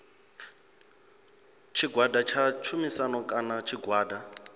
tshigwada tsha tshumisano kana tshigwada